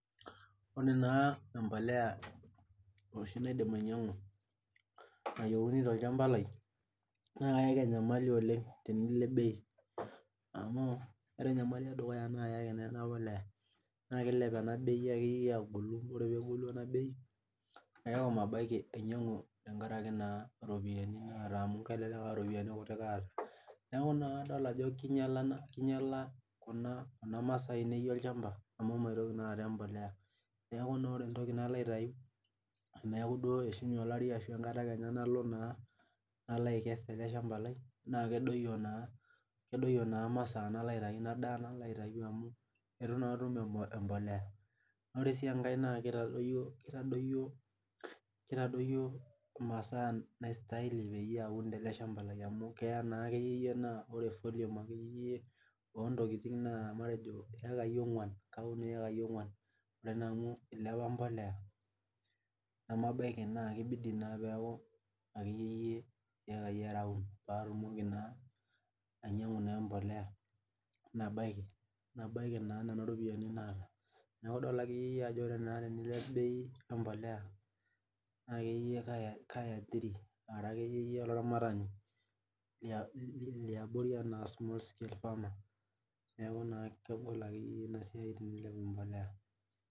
Ore naa embolea oshi naidim ainyang'u nayieuni tolchamba lai naa kaayaki enyamali oleng tenilep bei amu ore enyamali edukuya naayaki enapolea naa kiilep ena bei akeyie agolu naa ore peegolu ena bei neaku mabaiki ainyangu tenkaraki naa iropiani naata amu kelelek aa iropiani kutik aata neeku naa adol ajo kinyala kinyala kuna maasaa ainei olchamba amu maitoki naa aata embolea niaku naa ore entoki nalo aitayu teneeku naa eishunye olari ashu tenkata naa nalo aikes ele shamba lai naa kedoyio naa masaa nalo aitayu amu etu naa atum embolea Ore sii enkae naa kitadoyio imasaa naistahili aun tele shamba lai amu keya naakeyie naa ore volume akeyie oontokiting' naa iyekai ogwa'n kaun iyekai ong'wan naa amu ilepa embolea nemabaiki naa kibidi naa akeyiyie naa iyekai are aun paatimoki naa ainyang'u naa embolea nabaiki naa nena ropiani naata niaku idol akeyieyie ajo ore naa piilep bei ombolea akeyie kai aiathiri ara akeyie olaramatani liabori enaa small scalefarmer neeku naa kegol akeyie ina siai tenimipik imbolea